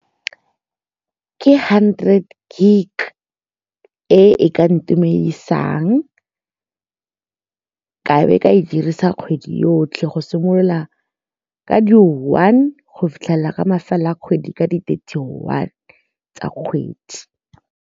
Ke hundred gig e ka ntumedisang ka be ka e dirisa kgwedi yotlhe go simolola ka di-one go fitlhelela mafelo a kgwedi ka di-thirty one tsa kgwedi.